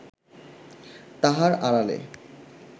তাহার আড়ালে